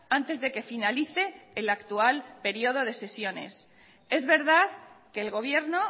antes de que finalice el actual periodo de sesiones es verdad que el gobierno